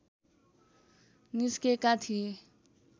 निस्केका थिए